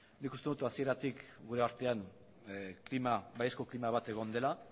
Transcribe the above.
nik uste dut hasieratik gure artean klima baiezko klima bat egon dela